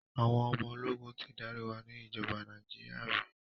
Àwọn ọmọ ológun ti darí wa ni ìjọba Nàíjíríà rí.